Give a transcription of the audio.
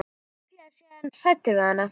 Líklega sé hann hræddur við hana.